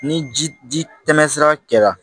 Ni ji ji tɛmɛsira kɛla